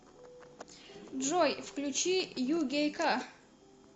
джой включи югейка